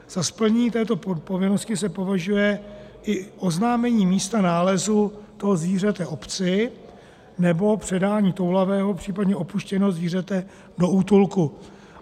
Za splnění této povinnosti se považuje i oznámení místa nálezu toho zvířete obci nebo předání toulavého, případně opuštěného zvířete to útulku.